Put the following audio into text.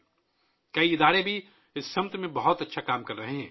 بہت سے ادارے بھی اس سمت میں بہت اچھا کام کر رہے ہیں